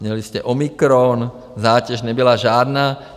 Měli jste omikron, zátěž nebyla žádná.